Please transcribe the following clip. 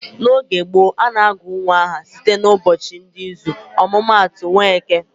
N'oge gboo, a na-agụ nwa aha site n'ụbọchị dị n'izu. Ọmụma atụ, Nweke